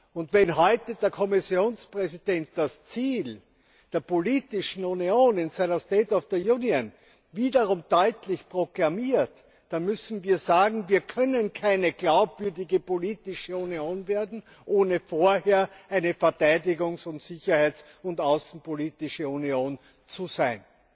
Und wenn heute der Kommissionspräsident das Ziel der politischen Union in seiner State of the Union Rede wiederum deutlich proklamiert, dann müssen wir sagen, wir können keine glaubwürdige politische Union werden, ohne vorher eine Verteidigungs Sicherheits und außenpolitische Union zu sein.